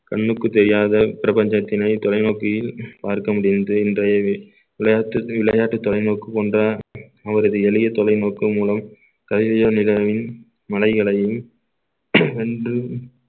கண்ணுக்கு தெரியாத பிரபஞ்சத்தினை தொலைநோக்கியில் பார்க்க முடிகின்றது இன்றைய விளையாட்டு விளையாட்டு தொலைநோக்கு கொண்ட அவரது எளிய தொலைநோக்கு மூலம் கலிலியோ மலைகளையும் வென்று